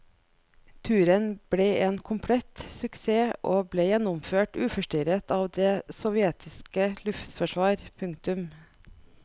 Turen ble en komplett suksess og ble gjennomført uforstyrret av det sovjetiske luftforsvar. punktum